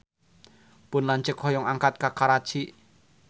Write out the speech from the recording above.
Pun lanceuk hoyong angkat ka Karachi